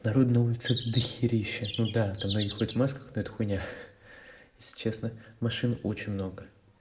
народа на улице дохерища ну да там многие ходят в масках но это хуйня если честно машин очень много